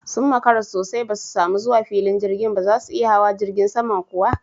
Sun makara sosai ba su samu zuwa filin jirgin ba! Zasu iya hawa jirgin saman kuwa?